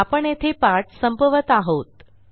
आपण येथे पाठ संपवत आहोत